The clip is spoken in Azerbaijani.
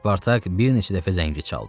Spartak bir neçə dəfə zəngi çaldı.